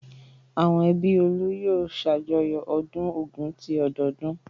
Àwọn ẹbí Olú yóò ṣàjọyọ̀ ọdún Ògún ti ọdọọdún.